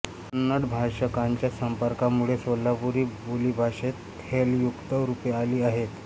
कन्नड भाषकांच्या संपर्कामुळे सोलापुरी बोलीभाषेत हेलयुक्त रूपे आली आहेत